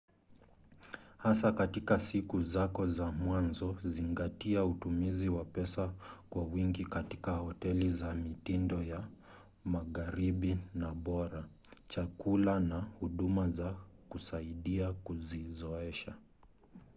hasa katika siku zako za mwanzo zingatia utumizi wa pesa kwa wingi katika hoteli za mitindo ya magharibi na bora chakula na huduma za kusaidia kujizoesha